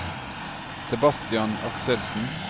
Sebastian Akselsen